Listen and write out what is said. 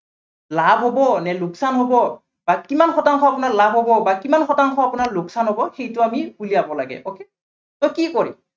লাভ হ'ব নে লোকচান হ'ব, বা কিমান শতাংশ আপোনাৰ লাভ হ'ব বা কিমান শতাংশ আপোনাৰ লোকচান হ'ব, সইটো আমি উলিয়াৱ লাগে okay, so কি কৰিম